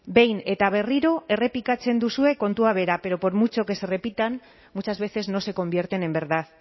behin eta berriro errepikatzen duzue kontua bera pero por mucho que se repitan muchas veces no se convierten en verdad